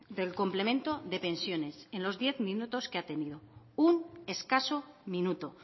del complemento de pensiones en los diez minutos que ha tenido un escaso minuto